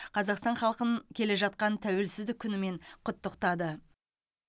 қазақстан халқын келе жатқан тәуелсіздік күнімен құттықтады